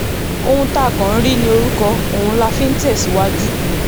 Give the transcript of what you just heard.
ohun tá a kàn ń rí ní orúkọ ọ̀hún la fi ń tẹ̀síwájú